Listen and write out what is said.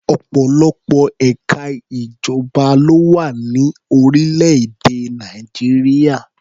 Ọ̀pọ̀lọpọ̀ ẹ̀ka ìjọba ló wà ní orílẹ̀-èdè Nàìjíríà.